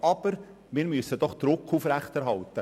Aber wir müssen doch Druck aufrechterhalten.